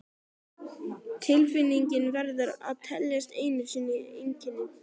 Tilfinningin verður að teljast ein sú einkenni